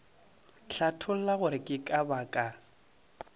hlatholla gore ke ka baka